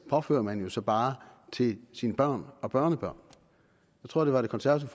påfører man jo så bare sine børn og børnebørn jeg tror det var det konservative